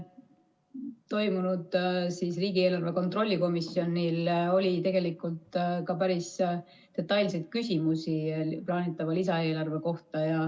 Toimunud riigieelarve kontrolli komisjoni istungil oli tegelikult ka päris detailseid küsimusi plaanitava lisaeelarve kohta.